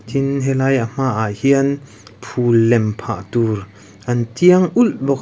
tin helai a hma ah hian phul lem phah tur an tiang ulh bawk.